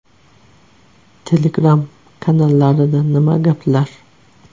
Telegram kanallarida nima gaplar?